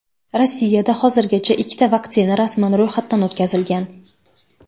Rossiyada hozirgacha ikkita vaksina rasman ro‘yxatda o‘tkazilgan.